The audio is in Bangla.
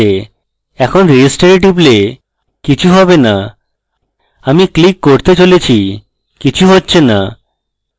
এখানে register এ টিপলে কিছু have না আমি click করে চলেছি কিছু হচ্ছে না